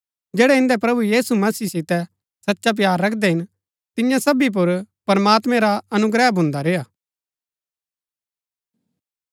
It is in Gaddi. जैड़ै इन्दै प्रभु यीशु मसीह सितै सचा प्‍यार रखदै हिन तियां सबी पुर प्रमात्मैं रा अनुग्रह भुन्दी रेय्आ